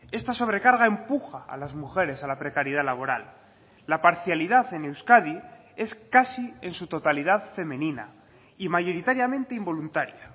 esta sobrecarga empuja a las mujeres a la precariedad laboral la parcialidad en euskadi es casi en su totalidad femenina y mayoritariamente involuntaria